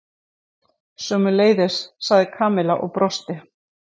Sömuleiðis sagði Kamilla og brosti.